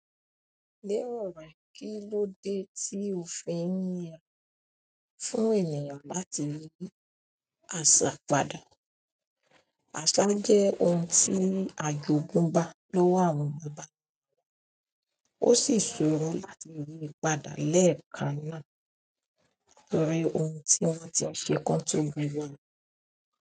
Lẹ́ẹ̀rọ̀re, kí ló dé tí o fẹ́ yín ye fún ènìyàn láti rí aṣápadà? Aṣá jẹ́ ohun tí ajogun bá lọ́wọ́ àwọn baba. Ó sì ṣòro láti yiì padà lẹ́ẹ̀kan náà nítorí ohun tí wọ́n ti ṣe kán tóbi won ni.